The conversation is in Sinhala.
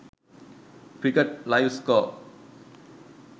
cricket live score